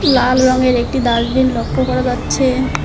লাল রঙের একটি ডাসবিন লক্ষ্য করা যাচ্ছে।